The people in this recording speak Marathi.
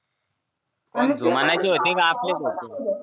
अन म्हयची होते